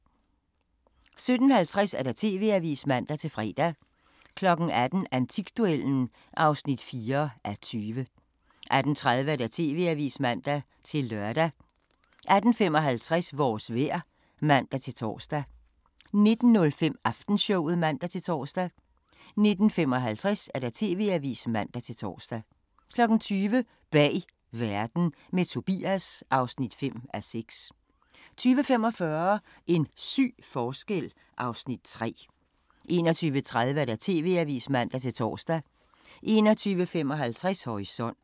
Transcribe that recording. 17:50: TV-avisen (man-fre) 18:00: Antikduellen (4:20) 18:30: TV-avisen (man-lør) 18:55: Vores vejr (man-tor) 19:05: Aftenshowet (man-tor) 19:55: TV-avisen (man-tor) 20:00: Bag Verden – med Tobias (5:6) 20:45: En syg forskel (Afs. 3) 21:30: TV-avisen (man-tor) 21:55: Horisont